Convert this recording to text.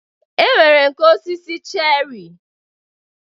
E nwere nke osisi cherị.